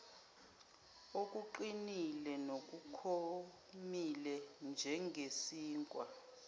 okuqinile nokomile njengesinkwa